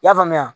I y'a faamuya